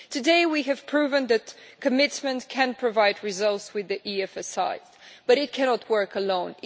Today we have proven that commitment can provide results with the EFSI, but it cannot work alone.